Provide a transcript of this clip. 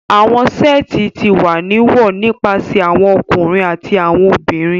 Awọn seeti ti wa ni wọ nipasẹ awọn ọkunrin ati awọn obinrin